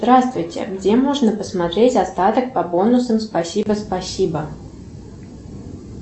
здравствуйте где можно посмотреть остаток по бонусам спасибо спасибо